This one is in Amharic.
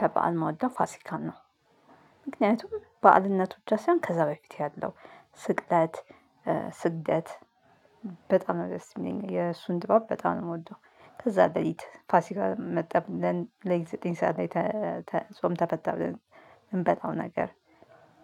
ከበዓል እምወደው ፋሲካን ነው። ምክንያቱም በአልነቱ ብቻ ሳይሆን ከዛ በፊት ያለው ስቅለት ስግደት በጣም ነው ደስ የሚለኝ የእሱን ጥበብ በጣም ነው የምወደው። ከዛ ሌሊት ፋሲካ መጣ ብለን ሌሊት ዘጠኝ ሰዓት አይተ ጾም ተፈታ ብለን እምንበላው ነገር